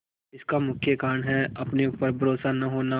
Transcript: इसका मुख्य कारण है अपने ऊपर भरोसा न होना